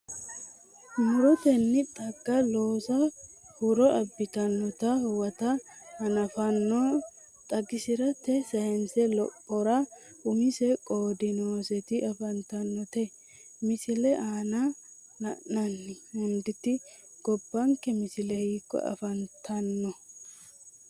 Mu’rotenni xagga loosa huro abbitannota huwata hanafa noo xagisi’rate sayinse lophora umise qoodi nooseti afantinote, Misile aana la’inanni hunditi gobbanke misile hiikko afantanno?